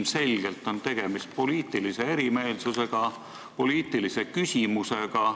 Ilmselgelt on tegemist poliitilise erimeelsusega, poliitilise küsimusega.